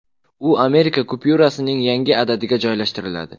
U Amerika kupyurasining yangi adadiga joylashtiriladi.